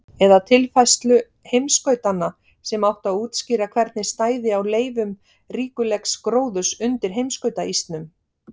eða tilfærslu heimskautanna, sem átti að útskýra hvernig stæði á leifum ríkulegs gróðurs undir heimskautaísnum.